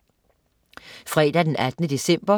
Fredag den 18. december